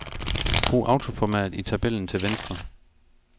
Brug autoformat i tabellen til venstre.